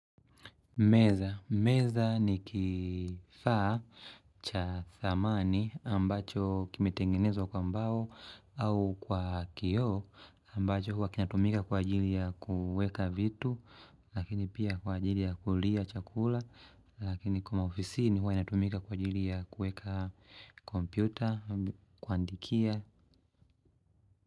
Meza. Meza ni kifaa cha thamani ambacho kimetengenezwa kwa mbao au kwa kioo ambacho huwa kinatumika kwa ajili ya kuweka vitu lakini pia kwa ajili ya kulia chakula lakini kwa maofisini huwa inatumika kwa ajili ya kueka kompyuta, kuandikia.